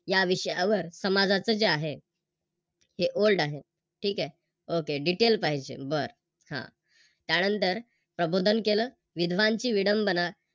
या विषयावर समाजाच जे आहे हे Old आहे ठीक आहे. Okay detail पाहिजे बर, हा त्यानंतर प्रबोधन केलं विधवांची विडंबना